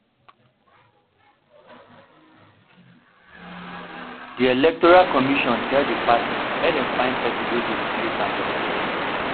di electoral commission tell di party make dem find pesin wey go replace am for di election